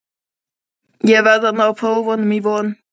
Ég verð að ná prófunum í vor.